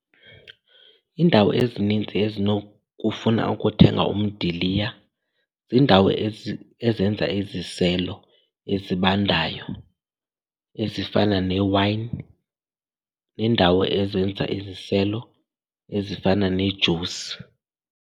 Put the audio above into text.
Iindawo ezininzi ezinokufuna ukuthenga umdiliya ziindawo ezenza iziselo ezibandayo ezifana newayini neendawo ezenza iziselo ezifana nejusi.